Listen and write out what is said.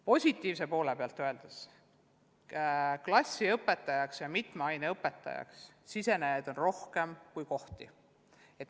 Positiivse poole pealt võib öelda, et klassiõpetajaks ja mitme aine õpetajaks saada soovijaid on rohkem kui õppekohti.